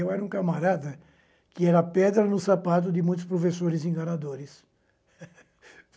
E eu era um camarada que era pedra no sapato de muitos professores enganadores.